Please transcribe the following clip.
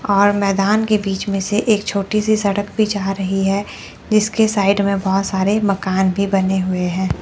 और मैदान के बीच में से एक छोटी सी सड़क भी जा रही है जिसके साइड में बहोत सारे मकान भी बने हुए हैं।